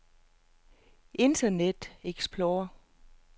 internet explorer